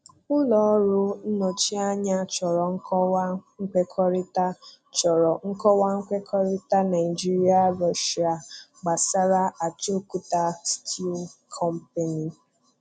Ụlọ ọrụ nnọchianya chọrọ nkọwa nkwekọrịta chọrọ nkọwa nkwekọrịta Naijiria-Russia gbàsárá Ajaokuta 'Steel Company. '